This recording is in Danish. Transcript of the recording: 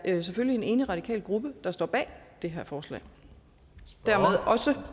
er selvfølgelig en enig radikal gruppe der står bag det her forslag